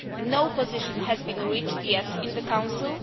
No position has been reached yet in the Council.